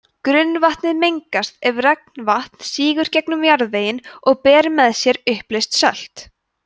grunnvatnið mengast ef regnvatn sígur gegnum jarðveginn og ber með sér uppleyst sölt